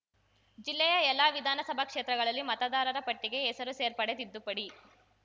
ಜಿಲ್ಲೆಯ ಎಲ್ಲ ವಿಧಾನಸಭಾ ಕ್ಷೇತ್ರಗಳಲ್ಲಿ ಮತದಾರರ ಪಟ್ಟಿಗೆ ಹೆಸರು ಸೇರ್ಪಡೆ ತಿದ್ದುಪಡಿ